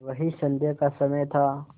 वही संध्या का समय था